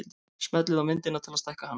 Smellið á myndina til að stækka hana.